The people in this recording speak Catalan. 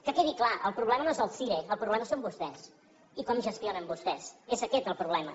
que quedi clar el problema no és el cire el problema són vostès i com gestionen vostès és aquest el problema